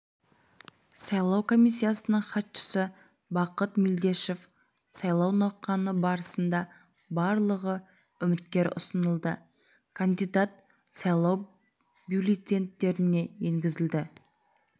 сайлау комиссиясының хатшысы бақыт мелдешов сайлау науқаны барысында барлығы үміткер ұсынылды кандидат сайлау бюллетеньдеріне енгізілді